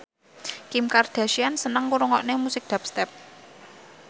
Kim Kardashian seneng ngrungokne musik dubstep